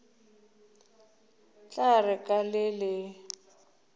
tla re ka le le